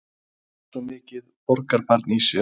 Maður er svo mikið borgarbarn í sér.